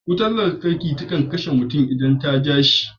Wutan lantarki takan kashe mutum idan ta ja shi.